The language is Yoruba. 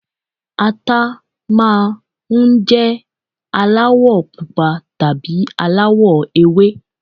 Ata máa ń jẹ́ aláwọ̀ pupa tàbí aláwọ̀ ewé